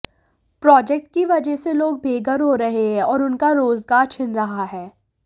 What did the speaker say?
project की वजह से लोग बेघर हो रहे हैं और उनका रोजगार छिन रहा है